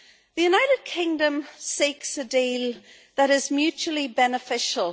The United Kingdom seeks a deal that is mutually beneficial.